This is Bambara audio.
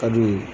Ka d'u ye